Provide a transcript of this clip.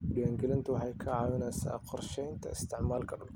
Diiwaangelintu waxay ka caawisaa qorshaynta isticmaalka dhulka.